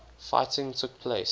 fighting took place